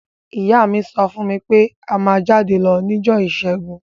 Ìyá mi so fún mí pe a má jáde lo nijọ́ ìsẹ́gun